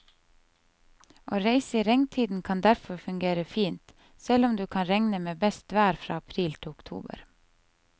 Å reise i regntiden kan derfor fungere fint, selv om du kan regne med best vær fra april til oktober.